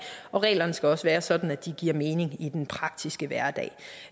og reglerne skal også være sådan at de giver mening i den praktiske hverdag